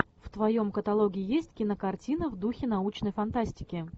в твоем каталоге есть кинокартина в духе научной фантастики